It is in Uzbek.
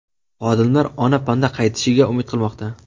Xodimlar ona panda qaytishiga umid qilmoqda.